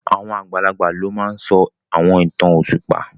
Àwọn àgbàlagbà ló máa n sọ àwọn ìtàn òṣùpá